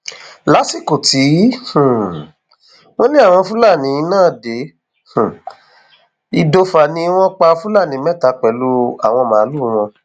lásìkò tí um wọn lé àwọn fúlàní náà dé um ìdòfà ni wọn pa fúlàní mẹta pẹlú àwọn màálùú wọn